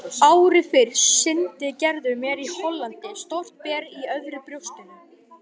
Ári fyrr sýndi Gerður mér í Hollandi stórt ber í öðru brjóstinu.